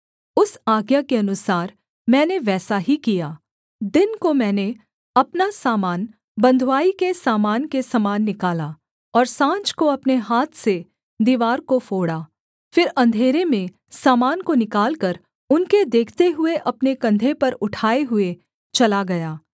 उस आज्ञा के अनुसार मैंने वैसा ही किया दिन को मैंने अपना सामान बँधुआई के सामान के समान निकाला और साँझ को अपने हाथ से दीवार को फोड़ा फिर अंधेरे में सामान को निकालकर उनके देखते हुए अपने कंधे पर उठाए हुए चला गया